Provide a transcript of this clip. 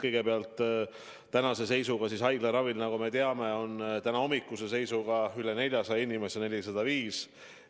Kõigepealt, tänahommikuse seisuga on haiglaravil, nagu me teame, üle 400 inimese, täpsemalt 405.